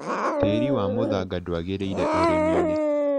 Tĩri wa mũthanga ndwagĩrĩire ũrĩmiinĩ.